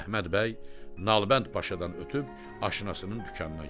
Əhməd bəy Nalbənd Paşadan ötüb aşinasının dükanına gəlir.